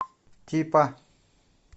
типа